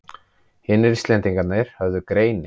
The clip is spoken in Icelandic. Hinir Íslendingarnir höfðu greini